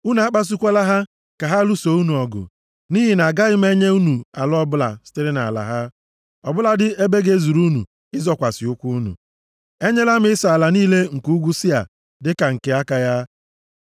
Unu akpasukwala ha ka ha lụsoo unu ọgụ, nʼihi na agaghị m enye unu ala ọbụla sitere nʼala ha, ọ bụladị ebe ga-ezuru unu ịzọkwasị ụkwụ unu. Enyela m Ịsọ ala niile nke ugwu Sia dịka nke aka ya. + 2:5 Ndị Edọm, ndị Moab na ndị Amọn nwere ka ha si bụrụ ụmụnna ndị Izrel. Chineke nyere ha ala nke aka ha, \+xt Jen 36:6-8; Jos 24:4\+xt*